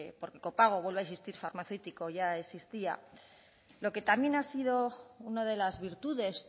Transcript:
porque copago vuelvo a insistir farmacéutico ya existía lo que también ha sido una de las virtudes